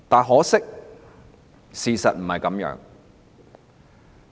可惜，事實並非如此。